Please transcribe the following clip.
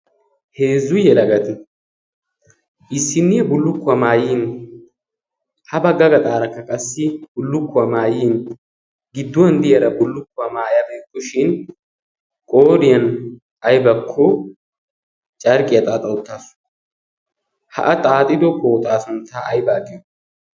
heezzuyyelagati issinniya bullukkuwaa maayyin ha bagga ga xaarakka qassi bullukkuwaa maayyin gidduwan diyaara bullukkuwaa maayabeekkoshin qoriyan aibakko carqqiyaa xaaxauttaasu ha7a xaaxido kooxaasuntta aibaaqiyo?